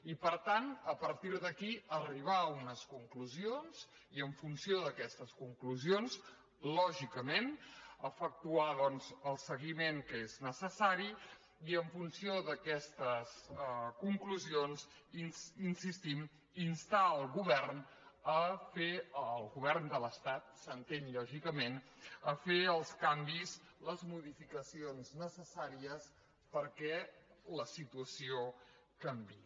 i per tant a partir d’aquí arribar a unes conclusions i en funció d’aques·tes conclusions lògicament efectuar doncs el se·guiment que és necessari i en funció d’aquestes con·clusions hi insistim instar el govern el govern de l’estat s’entén lògicament a fer els canvis les mo·dificacions necessàries perquè la situació canviï